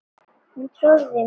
Hún trúði mér.